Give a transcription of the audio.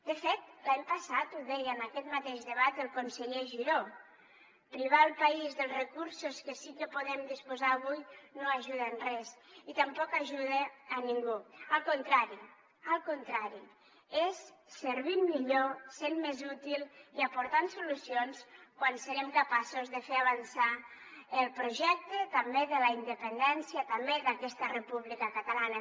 de fet l’any passat ho deia en aquest mateix debat el conseller giró privar el país dels recursos que sí que podem disposar avui no ajuda en res i tampoc ajuda a ningú al contrari al contrari és servint millor sent més útil i aportant solucions quan serem capaços de fer avançar el projecte també de la independència també d’aquesta república catalana